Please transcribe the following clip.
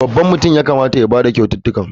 Babban mutum ya kamata ya ba da kyaututtukan.